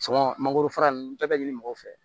mangoro fara nunnu bɛɛ bɛ ɲini mɔgɔw fɛ